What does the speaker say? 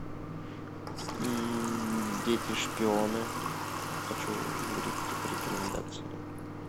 дети шпионы хочу увидеть по рекомендации